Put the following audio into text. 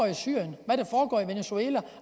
i syrien hvad der foregår i venezuela